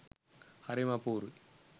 හරිම අපුරුයි